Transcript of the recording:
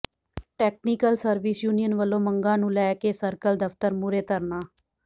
technical service union ਵਲੋਂ ਮੰਗਾਂ ਨੂੰ ਲੈ ਕੇ ਸਰਕਲ ਦਫ਼ਤਰ ਮੂਹਰੇ ਧਰਨਾ